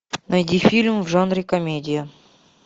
найди фильм в жанре комедия